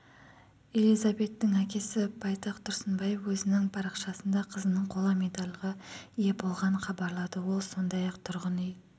элизабеттің әкесі байтақ тұрсынбаев өзінің парақшасында қызының қола медальға ие болғанын хабарлады ол сондай-ақ тұрғын үй